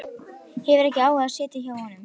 Hefur ekki áhuga á að sitja hjá honum.